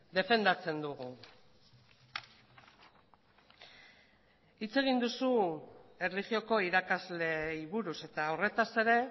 defendatzen dugu hitz egin duzu erlijioko irakasleei buruz eta horretaz ere